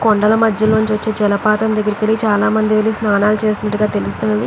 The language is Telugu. కొండల మధ్యలోంచి వచ్చే జలపాతం దగ్గరికి వెళ్లి చాలా మంది వెళ్లి స్నానాలు చేస్తున్నట్టుగా తెలుస్తుంది.